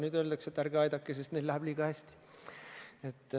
Nüüd öeldakse, et ärge aidake, sest neil läheb liiga hästi.